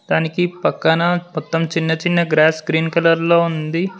తనకి పక్కన మొత్తం చిన్న చిన్న గ్రాస్ గ్రీన్ కలర్ లో ఉంది.